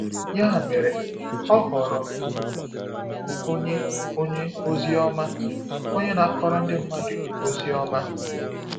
Ya mere, ọ ghọrọ onye onye ozi ọma, onye na-akọrọ ndị mmadụ ozi ọma.